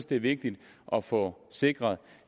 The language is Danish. det er vigtigt at få sikret